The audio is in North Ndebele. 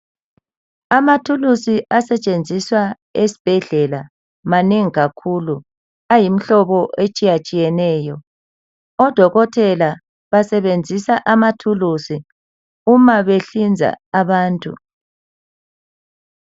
Amathuluzi asetshenziswa esibhedlela manengi kakhulu ayimihlobo etshiyatshiyeneyo. Odokotela basebenzisa amathuluzi uma behlinza abantu.